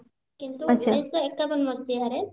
କିନ୍ତୁ ଉଣେଇଶହ ଏକାବନ ମସିହାରେ